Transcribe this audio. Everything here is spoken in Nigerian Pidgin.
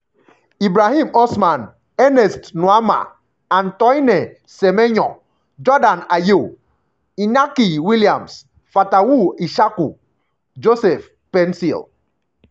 ibrahim osman ernest nuamah antoine semenyo jordan ayew (c) inaki williams fatawu issahaku joseph paintsil